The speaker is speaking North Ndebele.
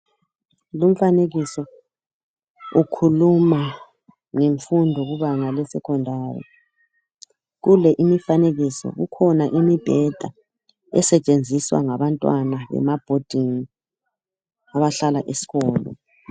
Lumfanekiso ukhuluma ngemfundo kubanga lesekhondari, kule imifanekiso kukhona imibheda esetshenziswa ngabantwana emabhodingi abahlala eskolo.